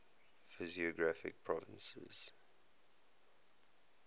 physiographic provinces